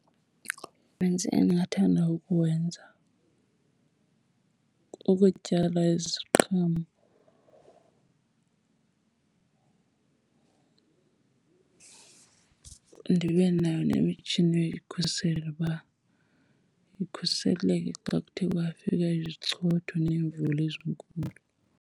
Umsebenzi endingathanda ukuwenza kukutyala iziqhamo ndibe nayo nemitshini yoyikhusela uba ikhuseleke xa kuthe kwafika izichotho neemvula ezinkulu.